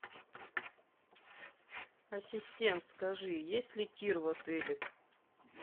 ассистент скажи есть ли тир в отеле